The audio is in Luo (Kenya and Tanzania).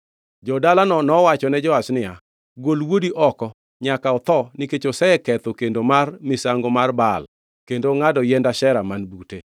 Jo-dalano nowachone Joash niya, “Gol wuodi oko. Nyaka otho nikech oseketho kendo mar misango mar Baal kendo ongʼado yiend Ashera man bute.”